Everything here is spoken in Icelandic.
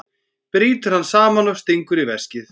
Brýtur hann saman og stingur í veskið.